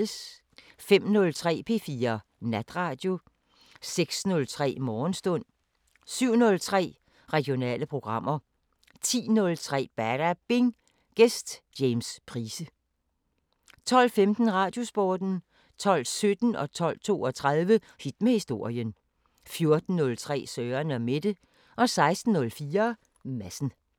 05:03: P4 Natradio 06:03: Morgenstund 07:03: Regionale programmer 10:03: Badabing: Gæst James Price 12:15: Radiosporten 12:17: Hit med historien 12:32: Hit med historien 14:03: Søren & Mette 16:04: Madsen